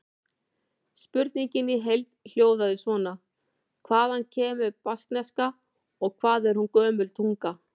Spurningin í heild hljóðaði svona: Hvaðan kemur baskneska og hvað er hún gömul tunga?